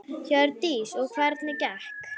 Hjördís: Og hvernig gekk?